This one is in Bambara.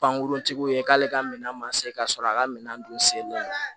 Pankuruntigiw ye k'ale ka minɛn ma se ka sɔrɔ a ka minɛn don sen don